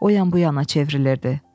O yan bu yana çevrilirdi.